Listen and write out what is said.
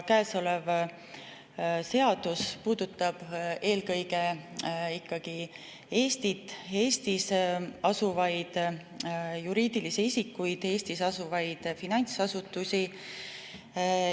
Käesolev seadus puudutab eelkõige ikkagi Eestit, Eestis asuvaid juriidilisi isikuid, Eestis asuvaid finantsasutusi.